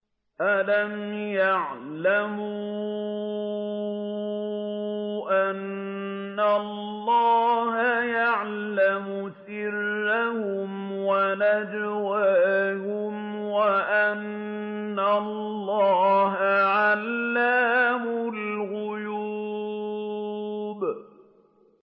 أَلَمْ يَعْلَمُوا أَنَّ اللَّهَ يَعْلَمُ سِرَّهُمْ وَنَجْوَاهُمْ وَأَنَّ اللَّهَ عَلَّامُ الْغُيُوبِ